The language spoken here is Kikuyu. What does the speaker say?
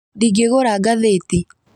Ndingĩgura ngathĩti